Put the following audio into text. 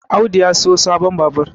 Audu ya siyo sabon Babur